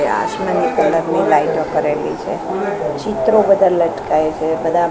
એ આસમાની કલર ની લાઈટો કરેલી છે ચિત્રો બધા લટકાય છે બધા --